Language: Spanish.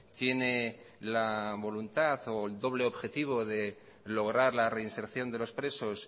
tiene la voluntad o el doble objetivo de lograr la reinserción de los presos